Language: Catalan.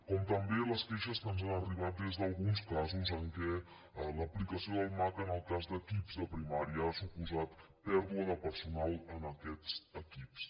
com també les queixes que ens han arribat des d’alguns casos en què l’aplicació del maca en el cas d’equips de primària ha suposat pèrdua de personal en aquests equips